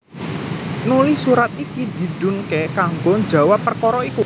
Nuli surat iki didhunké kanggo njawab perkara iku